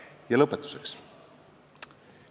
Ja lõpetuseks.